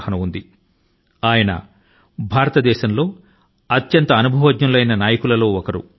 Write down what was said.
నరసింహా రావు భారతదేశం లోని అత్యంత అనుభవజ్ఞ నాయకుల లో ఒకరు